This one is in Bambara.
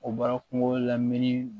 O bɔra kungo la min